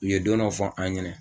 U ye don dɔ fɔ an ɲɛnɛ.